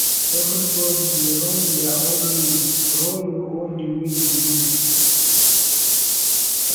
evri bodi dey run dia own race run yur own di way yu fit